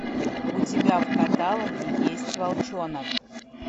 у тебя в каталоге есть волчонок